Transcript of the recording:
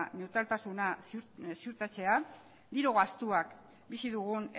neutraltasuna ziurtatzea diru gastuak bizi dugun